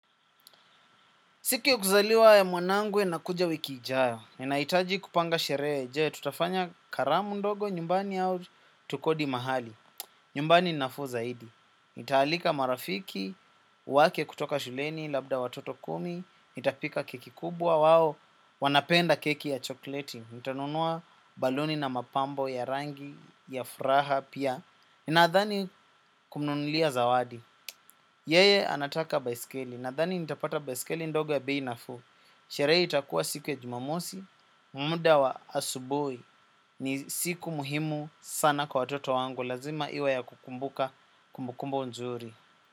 Siku ya kuzaliwa ya mwanangu inakuja wiki ijayo. Ninahitaji kupanga sherehe, je tutafanya karamu ndogo nyumbani au tukodi mahali. Nyumbani nafuu zaidi. Nitaalika marafiki, wake kutoka shuleni, labda watoto kumi, nitapika keki kubwa, wao, wanapenda keki ya chokleti, nitanunua baluni na mapambo ya rangi, ya furaha, pia. Nadhani kumnunulia zawadi. Yeye anataka baiskeli, nadhani nitapata baiskeli ndogo ya bei nafuu. Sherehe itakuwa siku ya jumamosi, muda wa asubuhi ni siku muhimu sana kwa watoto wangu lazima iwe ya kukumbuka kumbukumbu nzuri.